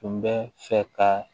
Tun bɛ fɛ ka